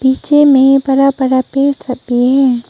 नीचे में बड़ा बड़ा पेड़ थपी हैं।